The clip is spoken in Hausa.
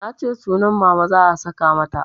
Nace sunan Mama za a saka mata